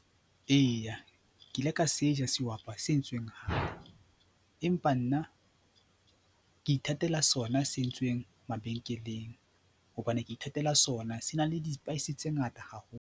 Eya, ke ile ka se ha sehwapa se entsweng hae empa nna ke ithatela sona se entsweng mabenkeleng hobane ke ithatela sona, se na le di-spice tse ngata haholo.